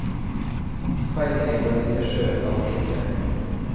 Speil deg i vår lille sjø av silke.